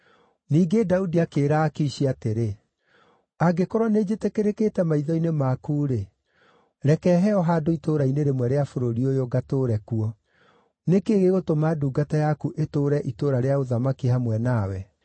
Ningĩ Daudi akĩĩra Akishi atĩrĩ, “Angĩkorwo nĩnjĩtĩkĩrĩkĩte maitho-inĩ maku-rĩ, reke heo handũ itũũra-inĩ rĩmwe rĩa bũrũri ũyũ, ngatũũre kuo. Nĩ kĩĩ gĩgũtũma ndungata yaku ĩtũũre itũũra rĩa ũthamaki hamwe nawe?”